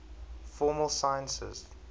formal sciences